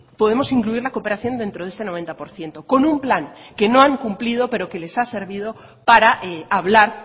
podemos incluir la cooperación dentro de este noventa por ciento con un plan que no han cumplido pero que les ha servido para hablar